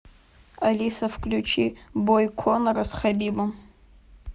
алиса включи бой конора с хабибом